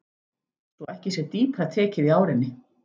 Svo ekki sé dýpra tekið í árinni.